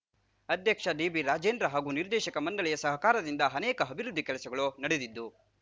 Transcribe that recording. ಅಧ್ಯಕ್ಷ ಡಿಬಿರಾಜೇಂದ್ರ ಹಾಗೂ ನಿರ್ದೇಶಕ ಮಂಡಳಿಯ ಸಹಕಾರದಿಂದ ಅನೇಕ ಅಭಿವೃದ್ಧಿ ಕೆಲಸಗಳು ನಡೆದಿದ್ದು